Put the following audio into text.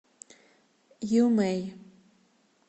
ю мэй